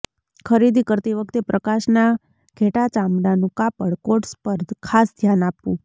ખરીદી કરતી વખતે પ્રકાશના ઘેટાં ચામડાનું કાપડ કોટ્સ પર ખાસ ધ્યાન આપવું